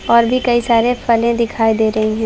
और भी कई सारे फले दिखाई दे रही हैं।